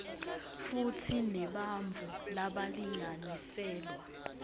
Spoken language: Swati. futsi nebantfu labalinganiselwa